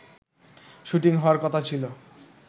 shooting হাওয়ার কথা ছিল